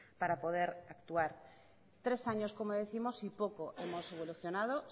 para poder actuar tres años como décimos y poco hemos evolucionado